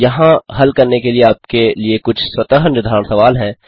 यहाँ हल करने के लिए आपके लिए कुछ स्वतः निर्धारण सवाल हैं